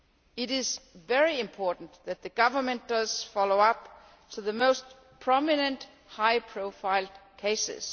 It is very important that the Government follows up on the most prominent high profile cases.